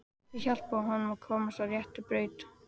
Þau hjálpuðu honum að komast á rétta braut.